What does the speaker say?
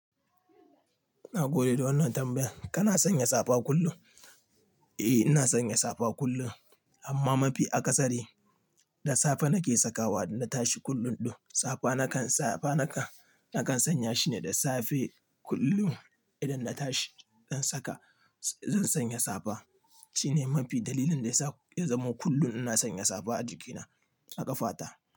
Na gode da wannan tambayar. Kana sanya safa kullum? Eh ina sanya safa kullum amma mafi akasari da safe nake sakawa na tashi kullum ɗun safa nakan safa nakan, nakan sanya shine da safe kullum idan na tashi zan saka, zan sanya safa. Shine mafi dalilin da ya sa ya zama kullum ina sanya safa a jikina a ƙafata.